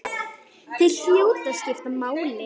Þeir hljóta að skipta máli.